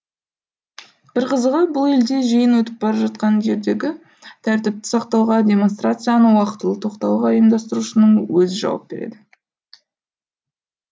бір қызығы бұл елде жиын өтіп бара жатқан жердегі тәртіпті сақтауға демонстрацияны уақытылы тоқтауға ұйымдастырушының өзі жауап береді